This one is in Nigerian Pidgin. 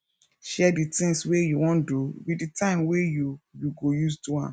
share di things wey you wan do with di time wey you you go use do am